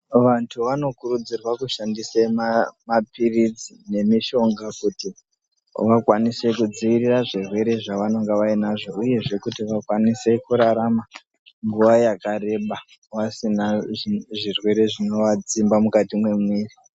Vantu vanokurudzirwe kushandise mapiritsi nemishonga kuti vakwanise kudziirira zvirwere zvevanenge vainazvo, uyezve kuti vakwanise kurarama nguva yakareba, vasina zvirwere zvinovadzimba mukati memwiri.